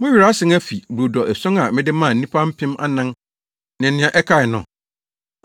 Mo werɛ asan afi brodo ason a mede maa nnipa mpem anan ne nea ɛkae no?